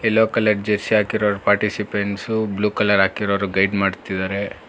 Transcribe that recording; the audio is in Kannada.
ಎಲ್ಲೋ ಕಲರ್ ಜರ್ಸಿ ಹಾಕಿರೋ ಪಾರ್ಟಿಷಿಪಾಂಟ್ಸ್ ಸು ಬ್ಲೂ ಕಲರ್ ಹಾಕಿರೋರು ಗೈಡ್ ಮಾಡ್ತಿದ್ದಾರೆ.